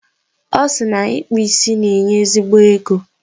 Ọ sị na ịkpụ isi na-enye ezigbo ego.